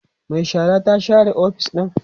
Mai shara ta share ofis ɗin